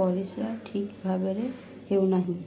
ପରିସ୍ରା ଠିକ୍ ଭାବରେ ହେଉନାହିଁ